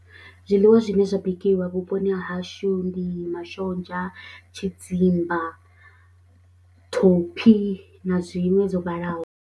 Zwiḽiwa zwine zwa bikiwa vhuponi ha hashu ndi mashonzha, tshidzimba, thophi na zwiṅwe dzo vhalaho.